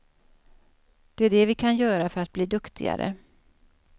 Det är det vi kan göra för att bli duktigare.